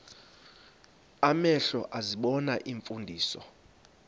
amehlo ezibona iimfundiso